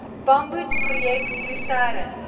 bamboed projek lusern